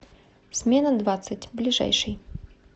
смена двадцать ближайший